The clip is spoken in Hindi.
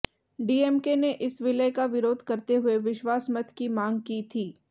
डीएमके ने इस विलय का विरोध करते हुए विश्वास मत की मांग की थी